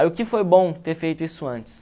Aí o que foi bom ter feito isso antes?